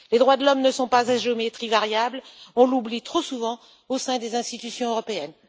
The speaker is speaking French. Les droits de l'homme ne sont pas à géométrie variable, on l'oublie trop souvent au sein des institutions européennes.